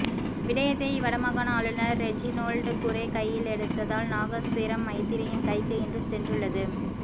விடயத்தை வடமாகாண ஆளுநர் ரெஜிநோல்ட் குரே கையிலெடுத்ததால் நாகஸ்திரம் மைத்திரியின் கைக்கு இன்று சென்றுள்ளது